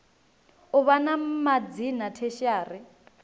u vha na madzina tertiary